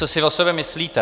Co si o sobě myslíte!